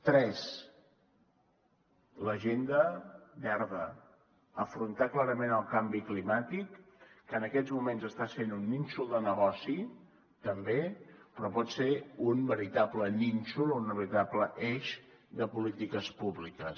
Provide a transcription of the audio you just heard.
tres l’agenda verda afrontar clarament el canvi climàtic que en aquests moments està sent un nínxol de negoci també però pot ser un veritable nínxol o un veritable eix de polítiques públiques